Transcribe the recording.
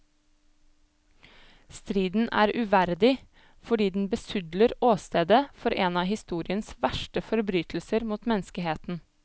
Striden er uverdig, fordi den besudler åstedet for en av historiens verste forbrytelser mot menneskeheten.